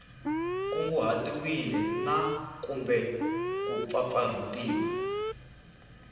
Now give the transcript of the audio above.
kunguhatiwile na kumbe ku pfapfarhutiwa